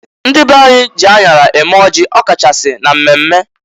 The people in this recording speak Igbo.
Ndị be anyị ji aṅara eme ọjị, ọ kachasị na mmemme.